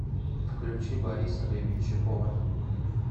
включи бориса гребенщикова